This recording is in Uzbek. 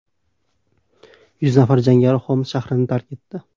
Yuz nafar jangari Xoms shahrini tark etdi.